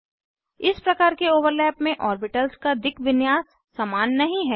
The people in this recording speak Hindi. इस प्रकार के ओवरलैप में ऑर्बिटल्स का दिक् विन्यास समान नहीं है